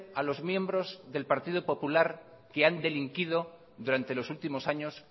a los miembros del partido popular que han delinquido durante los últimos años